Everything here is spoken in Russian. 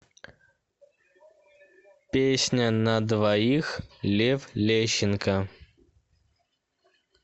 песня на двоих лев лещенко